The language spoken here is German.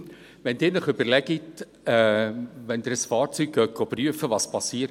Wenn Sie sich überlegen, was genau passiert, wenn Sie ein Fahrzeug prüfen lassen: